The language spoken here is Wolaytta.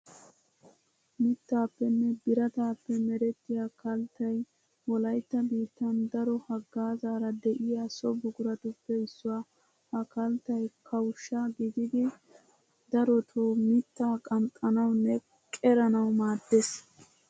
Mittaappenne birataappe merettiya kalttay wolaytta biittan daro haggaazaara de'iya so buquratuppe issuwa. Ha kalttay kawushsha gididi darotoo mittaa qanxxanawunne qeranawu maaddees.